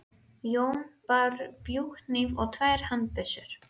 Jón bar bjúghníf og tvær handbyssur.